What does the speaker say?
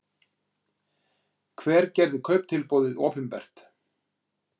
Hver gerði kauptilboðið opinbert